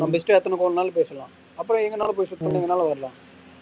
நம்ம இஷ்டம் எத்தனை phone நாலும் பேசிக்கலாம் அப்புறம் எங்க நாளும் போய் சுத்திட்டு எங்கனாலும் வரலாம்.